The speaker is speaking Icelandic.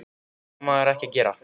Það á maður ekki að gera.